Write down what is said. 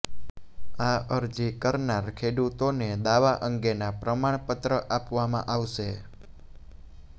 આ અરજી કરનાર ખેડૂતોને દાવા અંગેના પ્રમાણપત્ર આપવામાં આવશે